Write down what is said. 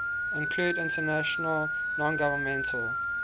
include international nongovernmental